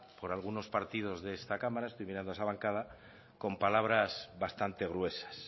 por algunos partidos de esta cámara estoy mirando a esa bancada con palabras bastante gruesas